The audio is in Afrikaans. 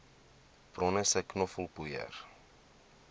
bronne sê knoffelpoeier